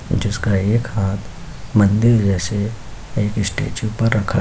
जिसका एक हाथ मंदिर जैसे एक स्टेचयु पर रखा --